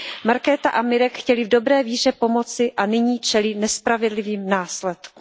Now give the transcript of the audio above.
Markéta a Mirek chtěli v dobré víře pomoci a nyní čelí nespravedlivým následkům.